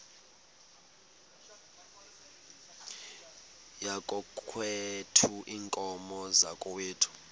yakokwethu iinkomo zakokwethu